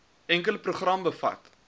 enkele program bevat